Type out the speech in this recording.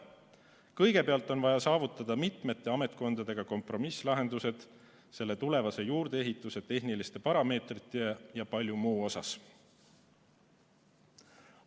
Kõigepealt on vaja saavutada mitmete ametkondadega kompromisslahendused tulevase juurdeehituse tehnilistes parameetrites ja paljudes muudes asjades.